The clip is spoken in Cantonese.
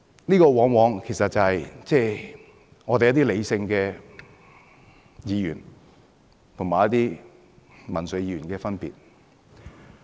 這往往便是理性的議員和民粹議員的分別。